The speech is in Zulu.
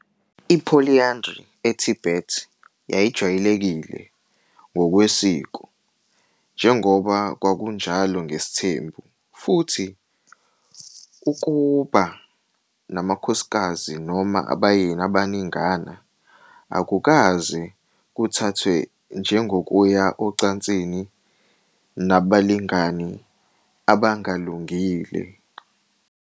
I-Polyandry eTibet yayijwayelekile ngokwesiko, njengoba kwakunjalo ngesithembu, futhi ukuba namakhosikazi noma abayeni abaningana akukaze kuthathwe njengokuya ocansini nabalingani abangalungile.